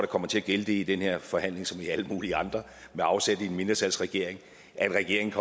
kommer til at gælde det i den her forhandling som i alle mulige andre med afsæt i en mindretalsregering at regeringen